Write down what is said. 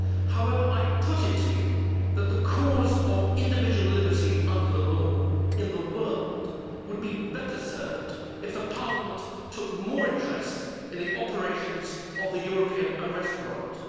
However, I put it to the House that the cause of individual liberty under the law in the world would be better served if Parliament took more interest in the operations of the European Arrest Warrant.